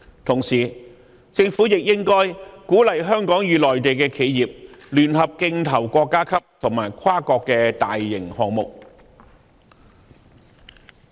同時，政府亦應該鼓勵香港與內地企業聯合競投國家級和跨國大型項目。